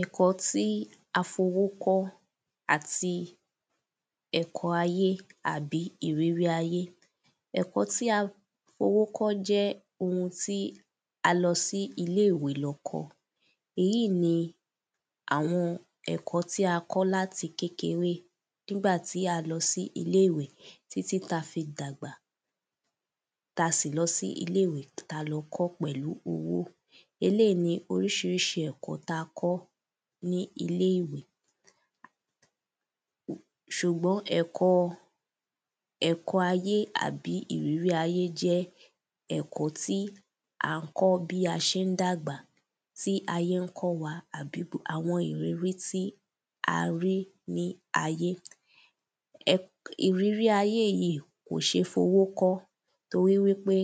Ẹ̀kọ́ tí a fi owó kọ́ àti ẹ̀kọ ayé àbí ìrírí ayé. Ẹ̀kọ́ tí a fowó kọ́ jẹ́ a lọ sí iléwé lọ kọ́ Èyí ni àwọn ẹ̀kọ́ tí a kọ́ láti láti kékeré. Nígbà tí a lọ sí ilé ìwé títí ta fi dàgbà. Ta sì lọ sí ilé ìwé ta lọ kọ́ pẹ̀lú owó. Eléì ni orísirísi ẹ̀kọ́ ta kọ́ ní ilé ìwé S̩ùgbọ́n ẹ̀kọ ẹkọ ayé tàbí ìrírí ayé jẹ́ ẹ̀kọ́ tí a kọ́ bí a sé ń dàgbà. Tí ayé ń kọ́ wa Gbogbo àwọn ìrírí tí a rí ní ayé. Ìrírí ayé yí kò sé fowó kọ́. Torí wípé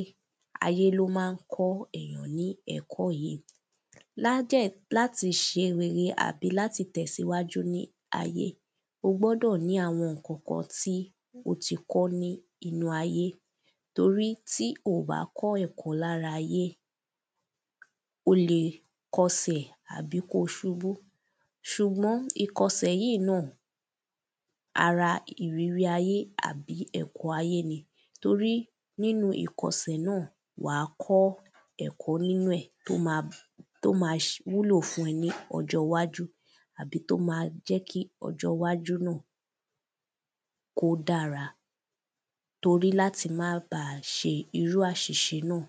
ayé ló má ń kọ́ èyàn mí ẹ̀kọ́ yí. Lá dẹ̀ láti ṣe rere àbí láti tẹ̀síwájú ní ayé. O gbọ́dọ̀ ní àwọn ǹkan kan tí o ti kọ́ ní inú ayé. Torí tí o ò bá kọ́ ẹ̀kọ́ lára ayé, O lè kọsẹ̀ àbí kó o subú. S̩ùgbọ́n ìkọsẹ̀ yí náà, ara ìrírí ayé àbí ẹ̀kọ́ ayé ni. Torí nínú ìkọsẹ̀ náà, wà á kọ́ ẹ̀kọ́ nínú ẹ̀ tó ma wúlò fún ẹ ní ọjọ́ iwájú. Àbí tó ma jẹ́ kí ọjọ́ iwájú náà kó dára. Torí láti má ba à se irú àsìse náà.